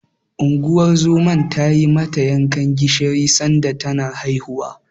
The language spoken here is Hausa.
Unguwar zoman ta yi mata yankan gishiri sanda tana haihuwa.